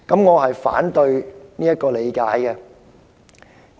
我反對她的理解。